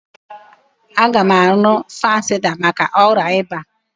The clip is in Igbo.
Aga m aṅụ fansida maka ọrịa ịba.